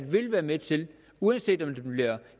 vil være med til uanset om den bliver